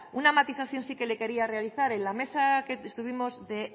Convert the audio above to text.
una matización sí que le que le quería realizar en la mesa que estuvimos de esen